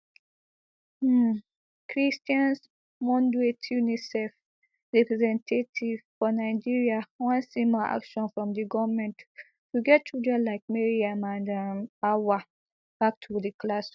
um cristian munduate unicef representative for nigeria wan see more action from di goment to get children like mariam and um auwal back to di classroom